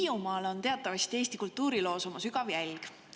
Hiiumaa on teatavasti Eesti kultuurilukku oma sügava jälje jätnud.